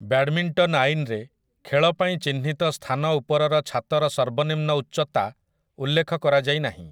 Badminton ଆଇନରେ, ଖେଳ ପାଇଁ ଚିହ୍ନିତ ସ୍ଥାନ ଉପରର ଛାତର ସର୍ବନିମ୍ନ ଉଚ୍ଚତା ଉଲ୍ଲେଖ କରାଯାଇନାହିଁ ।